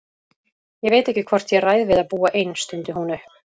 Ég veit ekki hvort ég ræð við að búa ein, stundi hún upp.